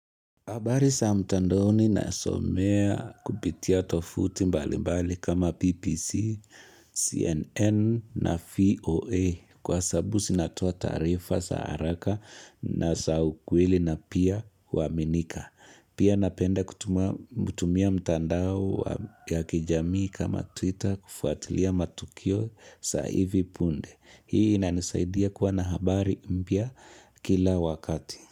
Habari saa mtandoni na somea kupitia tovuti mbali mbali kama BBC, CNN na vOA Kwa sababu sinatoa taarifa sa haraka na sa ukweli na pia huaminika Pia napenda kutumia mtandao ya kijamii kama Twitter kufuatilia matukio sa hivi punde Hii nanisaidia kuwa na habari mpya kila wakati.